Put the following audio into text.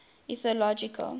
ethnological